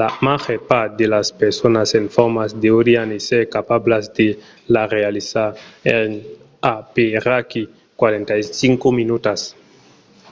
la màger part de las personas en forma deurián èsser capablas de la realizar en aperaquí 45 minutas